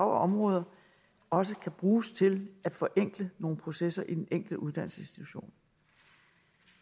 område også kan bruges til at forenkle nogle processer på den enkelte uddannelsesinstitution